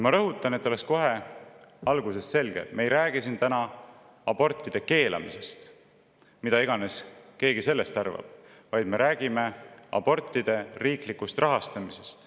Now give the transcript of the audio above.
Et oleks kohe algusest peale selge, siis ma rõhutan, et me ei räägi siin täna abortide keelamisest ja sellest, mida iganes keegi sellest arvab, vaid me räägime abortide riiklikust rahastamisest.